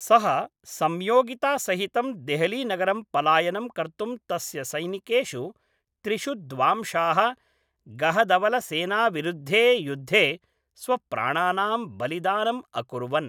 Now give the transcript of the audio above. सः सम्योगितासहितं देहलीनगरं पलायनं कर्तुं तस्य सैनिकेषु त्रिषु द्वांशाः गहदवलसेनाविरुद्धे युद्धे स्वप्राणानां बलिदानम् अकुर्वन्।